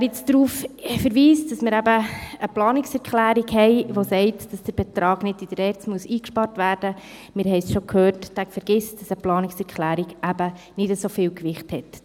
Wer jetzt darauf verweist, dass wir eine Planungserklärung haben, die besage, der Betrag müsse nicht in der ERZ eingespart werden – wir haben es bereits gehört –, der vergisst, dass eine Planungserklärung nicht so viel Gewicht hat.